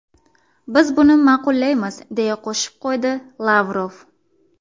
Biz buni ma’qullaymiz”, deya qo‘shib qo‘ydi Lavrov.